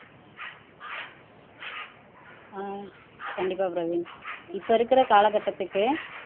அஹ் கண்டிப்பா பிரவீன் இப்ப இருக்கிற காலகட்டத்துக்கு